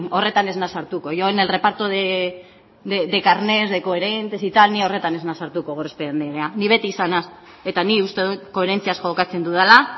horretan ez naiz sartuko yo en el reparto de carnet de coherentes ni horretan ez naiz sartuko gorospe andrea ni beti izan nahiz eta nik uste dut koherentziaz jokatzen dudala